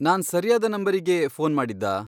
ನಾನ್ ಸರಿಯಾದ ನಂಬರಿಗೇ ಫೋನ್ ಮಾಡಿದ್ದಾ?